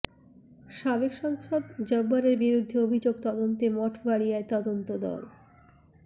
সাবেক সাংসদ জব্বারের বিরুদ্ধে অভিযোগ তদন্তে মঠবাড়িয়ায় তদন্ত দল